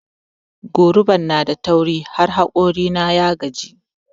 Goruban nada tauri har hokori na ya gaji.